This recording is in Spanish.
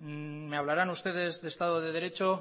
me hablarán ustedes de estado de derecho